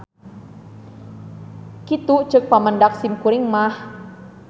Kitu ceuk pamendak simkuring mah.